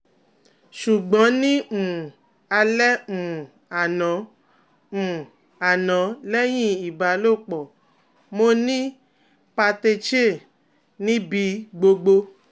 Sugbon ni um ale um ano um ano lehin ibalopo, mo ni patechiae ni bi gbogbo